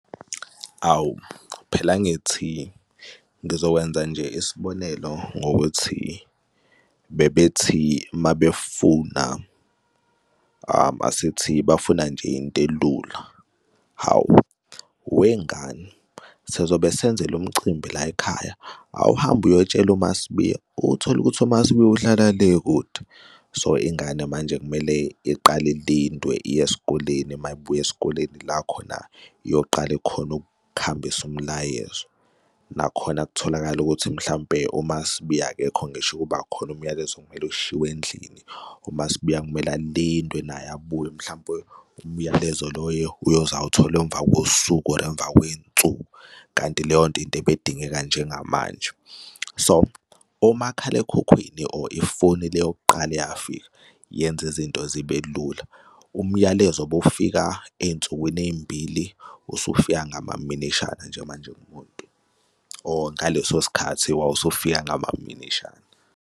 Awu, phela angithi ngizokwenza nje isibonelo ngokuthi bebethi mabefuna asithi bafuna nje into elula. Hawu, wengane sizobe senzela umcimbi la yikhaya, awuhambe uyotshela uMaSibiya, utholukuthi uMaSibiya uhlala le kude. So, ingane manje kumele iqale ilindwe, iye esikoleni uma ibuya esikoleni ila khona iyoqala khona ukuhambisa umlayezo. Nakhona kutholakale ukuthi mhlampe uMaSibiya akekho ngisho ukuba khona umyalezo kumele ushiywe endlini umaSibuya kumele alinde naye abuye mhlampe umyalezo loyo uyoze awuthole emva kosuku or emva kwey'nsuku kanti leyonto into ebey'dingeka njengamanje. So, omakhalekhukhwini or Ifoni leyokuqala eyafika yenza izinto zibe lula. Umyalezo obufika ey'nsukwini ezimbili, usufika ngamaminishana nje manje kumuntu or ngaleso sikhathi wawusufika ngamaminishana.